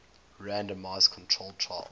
randomized controlled trials